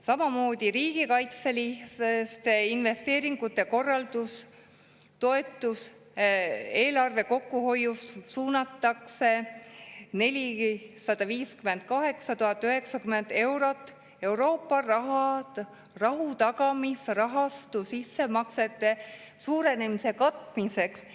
Samamoodi "Riigikaitseliste investeeringute korraldus" toetuste eelarve kokkuhoiust suunatakse 458 090 eurot Euroopa rahutagamisrahastu sissemaksete suurenemise katmiseks.